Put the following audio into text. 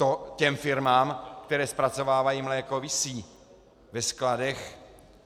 To těm firmám, které zpracovávají mléko, visí ve skladech.